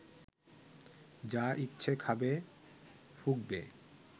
যা ইচ্ছে খাবে, ফুঁকবে